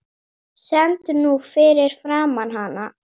Stend nú fyrir framan hana.